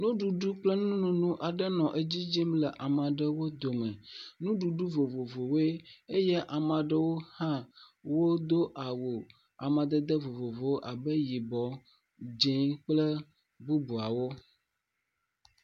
Nuɖuɖu kple nonono aɖe nɔ edzi yim le ama ɖewo dome. Nuɖuɖu vovovowoe eye ama ɖewo hã wodo awu amadede vovovowo abe yibɔ, dzẽ kple bubuawo.